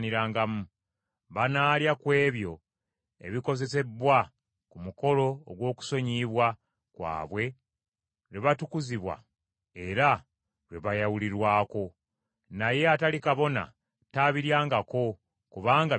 Banaalya ku ebyo ebikozesebbwa ku mukolo ogw’okusonyiyibwa kwabwe lwe batukuzibwa era lwe bayawulirwako. Naye atali kabona tabiryangako, kubanga bitukuvu.